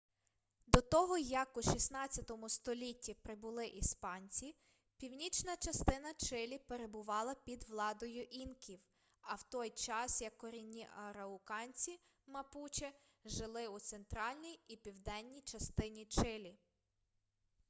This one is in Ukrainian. до того як у 16 столітті прибули іспанці північна частина чилі перебувала під владою інків в той час як корінні арауканці мапуче жили у центральній і південній частині чилі